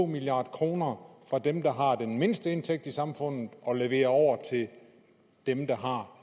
milliard kroner fra dem der har den mindste indtægt i samfundet og leverer over til dem der har